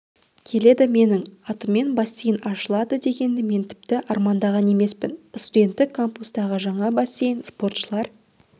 келеді менің атыммен бассейн ашылады дегенді мен тіпті армандаған емеспін студенттік кампустағы жаңа бассейн спортшылар